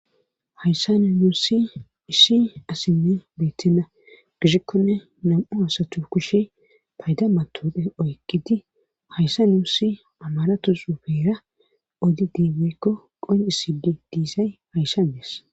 Hayssa ni nuussi issi asinne beytenna gishikkonne nam7u hasatu kushe fayda matodhe oykkidi hayssa nuusi amaratusupeera odi diimeykko qonisidi diisay hayssandees.